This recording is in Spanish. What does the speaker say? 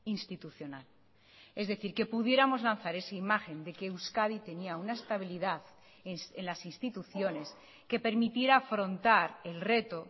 institucional es decir que pudiéramos lanzar esa imagen de que euskadi tenía una estabilidad en las instituciones que permitiera afrontar el reto